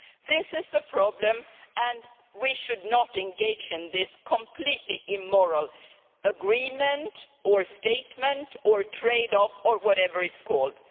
This is the problem, and we should not engage in this completely immoral agreement, or statement, or trade off or whatever it is called.